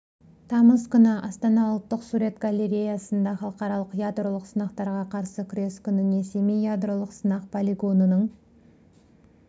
тамыз күні астана ұлттық сурет галлереясында халықаралық ядролық сынақтарға қарсы күрес күніне семей ядролық сынақ полигонының